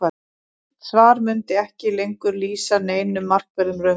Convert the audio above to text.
en slíkt svar mundi ekki lengur lýsa neinum markverðum raunveruleika